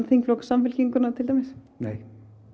þingflokk Samfylkinguna til dæmis nei